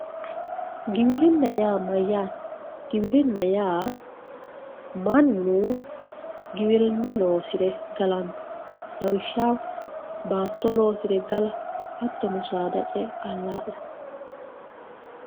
giwirinna yaa mayyaate ? giwirinna yaa mannu giwirinna loosire galanno lawishshaho baatto loosire gala hattono saada ce''e allaa'le allaa'late.